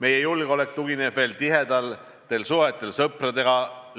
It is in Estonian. Meie julgeolek tugineb veel tihedatel suhetel sõpradega